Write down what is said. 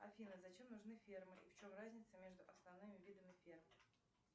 афина зачем нужны фермы и в чем разница между основными видами ферм